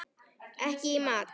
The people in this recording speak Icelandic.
Ekki í mat.